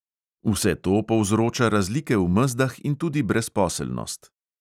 Vse to povzroča razlike v mezdah in tudi brezposelnost.